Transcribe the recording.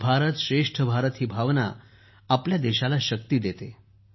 एक भारतश्रेष्ठ भारत ही भावना आपल्या देशाला शक्ती देते